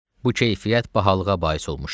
Bu keyfiyyət bahalığa bais olmuşdu.